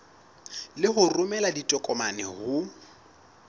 le ho romela ditokomane ho